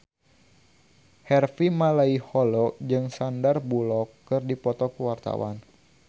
Harvey Malaiholo jeung Sandar Bullock keur dipoto ku wartawan